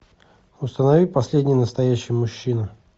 установи последний настоящий мужчина